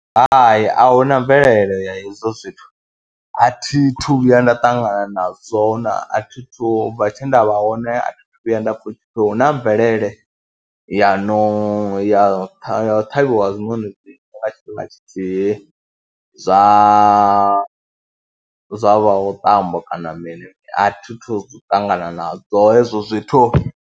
Hai, a hu na mvelele ya hezwo zwithu, a thi thu vhuya nda ṱangana nazwo, a thi thu vha, u bva tshe nda vha hone a thi thu vhuya nda pfha hu na mvelele ya no ya ya u ṱhavhiwa ha zwinoni nga tshifhinga tshithihi zwa zwa vhaṱambo kana mini, a thi thu ṱangana nazwo hezwo zwithu.